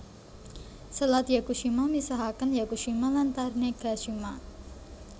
Selat Yakushima misahaken Yakushima lan Tanegashima